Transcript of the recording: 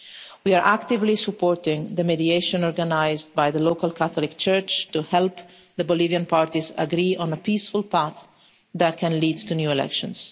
We are actively supporting the mediation organised by the local Catholic church to help the Bolivian parties agree on a peaceful path that can lead to new elections.